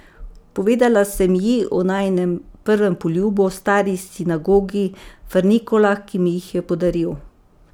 Povedala sem ji o najinem prvem poljubu, stari sinagogi, frnikolah, ki mi jih je podaril.